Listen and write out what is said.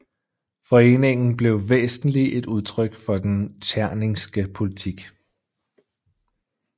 Foreningen blev væsentlig et udtryk for den tscherningske politik